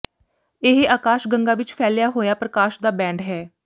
ਇਹ ਆਕਾਸ਼ ਗੰਗਾ ਵਿਚ ਫੈਲਿਆ ਹੋਇਆ ਪ੍ਰਕਾਸ਼ ਦਾ ਬੈਂਡ ਹੈ